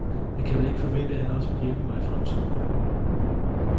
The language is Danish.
Jeg kan vel ikke forvente, at han også vil hjælpe mig i fremtiden.